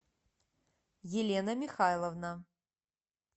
елена михайловна